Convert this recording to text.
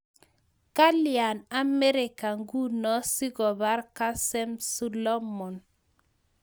Kalyaa Amerika ngunoo sikopaar kasem Sulomon?